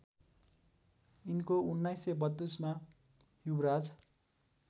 यिनको १९३२मा युवराज